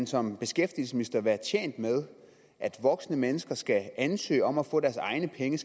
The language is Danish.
som beskæftigelsesminister være tjent med at voksne mennesker skal ansøge om at få deres egne penge